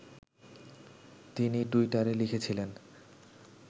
তিনি টুইটারে লিখেছিলেন